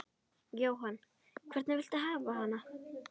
Jóhann: Hvernig viltu hafa hana?